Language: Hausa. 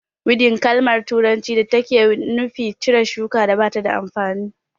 Widin kalma turanci ce da take nufi cire shukar da ba ta da amfani